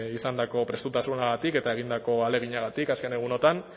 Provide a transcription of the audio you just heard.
izandako prestutasunagatik eta egindako ahaleginagatik azken egunotan